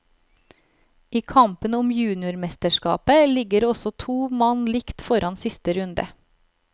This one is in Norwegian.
I kampen om juniormesterskapet ligger også to mann likt foran siste runde.